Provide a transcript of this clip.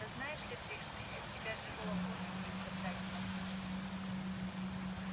да знаешь ли ты что я с тебя живого кожу велю содрать на тулупы